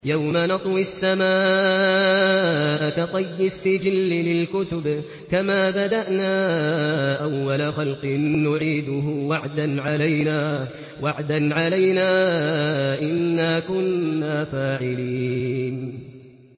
يَوْمَ نَطْوِي السَّمَاءَ كَطَيِّ السِّجِلِّ لِلْكُتُبِ ۚ كَمَا بَدَأْنَا أَوَّلَ خَلْقٍ نُّعِيدُهُ ۚ وَعْدًا عَلَيْنَا ۚ إِنَّا كُنَّا فَاعِلِينَ